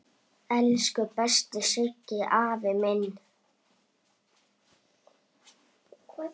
Elsku besti Siggi afi minn.